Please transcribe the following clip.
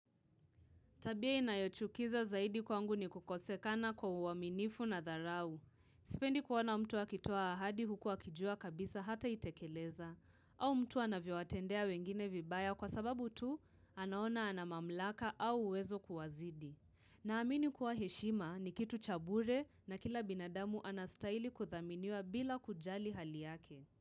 Tabia inayochukiza zaidi kwangu ni kukosekana kwa uaminifu na dharau. Sipendi kuona mtu akitoa ahadi huku akijua kabisa hataitekeleza. Au mtu anavyowatendea wengine vibaya kwa sababu tu anaona ana mamlaka au uwezo kuwazidi. Naamini kuwa heshima ni kitu cha bure na kila binadamu anastahili kudhaminiwa bila kujali hali yake.